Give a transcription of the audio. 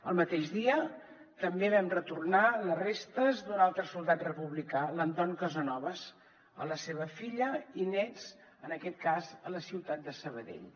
el mateix dia també vam retornar les restes d’un altre soldat republicà l’anton casanovas a la seva filla i nets en aquest cas a la ciutat de sabadell